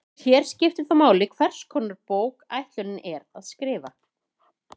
Hér skiptir þó máli hvers konar bók ætlunin er að skrifa.